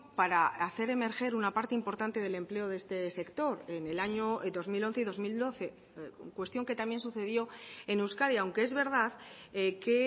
para hacer emerger una parte importante del empleo de este sector en el año dos mil once y dos mil doce cuestión que también sucedió en euskadi aunque es verdad que